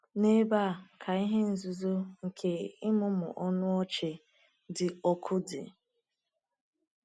N’ebe a ka ihe nzuzo nke ịmụmụ ọnụ ọchị dị ọkụ dị.